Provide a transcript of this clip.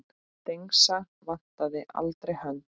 Dengsa vantaði aldrei hönd.